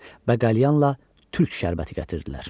Bəqəlyanla türk şərbəti gətirdilər.